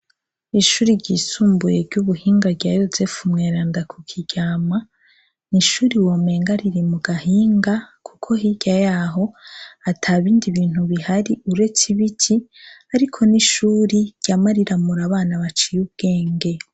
Ishure ryisumbuye ry'ubuhinga rya Yozefu mweranda ku Kiryama. Ni ishure womenga riri mu gahinga kuko hirya yaho atabindi bintu bihari uretse ibiti, ariko ni ishure ryama riramura abana baciye ubwenge.